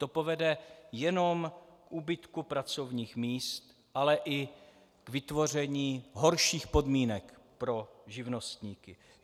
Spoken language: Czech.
To povede jenom k úbytku pracovních míst, ale i k vytvoření horších podmínek pro živnostníky.